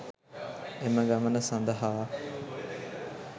එම ගමන සඳහා